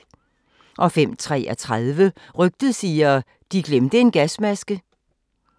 05:33: Rygtet siger: De glemte en gasmaske